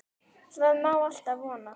Það má alltaf vona.